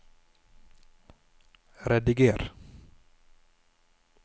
rediger